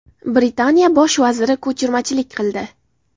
Britaniya bosh vaziri ko‘chirmachilik qildi.